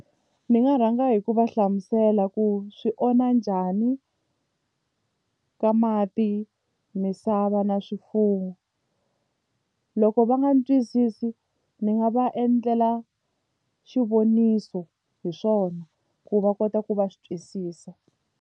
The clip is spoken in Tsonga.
Ni nga rhanga hi ku va hlamusela ku swi onha njhani ka mati misava na swifuwo loko va nga ni twisisi ndzi nga va endlela xivoniso hi swona ku va kota ku va swi twisisa.